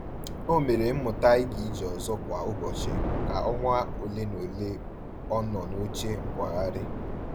O mere mmuta i ga ije ọzọ kwa ụbọchị ka ọnwa ole na ole ọ nọ n'oche nkwagharị.